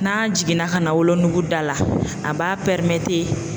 N'a jiginna ka na wolonugu da la a b'a